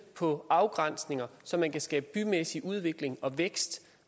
på nogle afgrænsninger så man kan skabe bymæssig udvikling og vækst